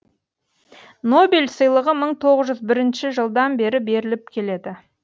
нобель сыйлығы мың тоғыз жүз жылдан бері беріліп келеді